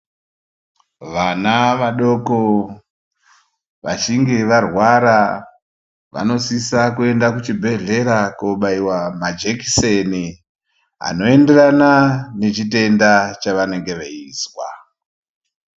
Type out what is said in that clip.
Vana vadoko vachinge varwara vanosisa kuenda ku chibhedhlera ko baiwa majekiseni ano enderana ne chitenda chavanenge veizwa.